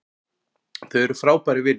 Þau eru frábærir vinir